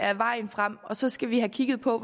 er vejen frem så skal vi have kigget på